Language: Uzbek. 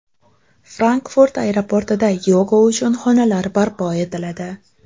Frankfurt aeroportida yoga uchun xonalar barpo etiladi.